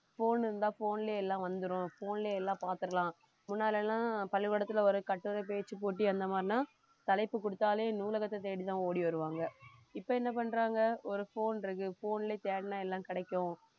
phone இருந்தா phone லயே எல்லாம் வந்துரும் phone லயே எல்லாம் பார்த்திடலாம் முன்னாடியெல்லாம் பள்ளிக்கூடத்துல ஒரு கட்டுரை பேச்சு போட்டி அந்த மாறின்னா தலைப்பு குடுத்தாலே நூலகத்தை தேடி தான் ஓடி வருவாங்க இப்ப என்ன பண்றாங்க ஒரு phone இருக்கு phone ல தேடினா எல்லாம் கிடைக்கும்